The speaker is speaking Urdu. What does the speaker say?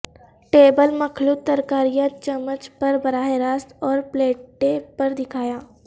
ٹیبل مخلوط ترکاریاں چمچ پر براہ راست اور پلیٹیں پر دکھایا